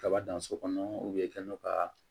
Kaba dan so kɔnɔ i ka n'o ka